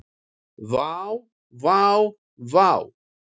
Vá vá vá.